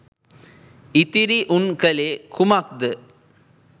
ඉතිරි උන් කලේ කුමක්ද